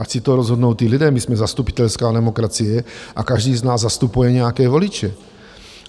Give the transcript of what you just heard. Ať si to rozhodnout ti lidé, my jsme zastupitelská demokracie a každý z nás zastupuje nějaké voliče.